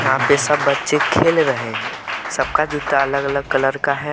यहां पे सब बच्चे खेल रहे है सबका जूता अलग अलग कलर का है।